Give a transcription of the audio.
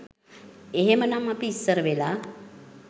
එහෙම නම් අපි ඉස්සර වෙලා